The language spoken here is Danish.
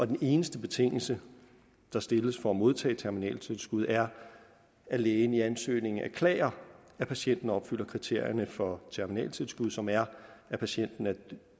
den eneste betingelse der stilles for at modtage terminaltilskud er at lægen i ansøgningen erklærer at patienten opfylder kriterierne for terminaltilskud som er at patienten er